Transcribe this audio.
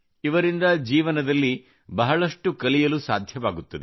ಇವರಿಂದ ಜೀವನದಲ್ಲಿ ಬಹಳಷ್ಟು ಕಲಿಯಲು ಸಾಧ್ಯವಾಗುತ್ತದೆ